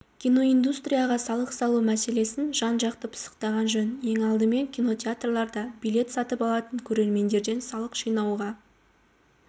киноиндустрияға салық салу мәселесін жан-жақты пысықтаған жөн ең алдымен кинотеатрларда билет сатып алатын көрермендерден салық жинауға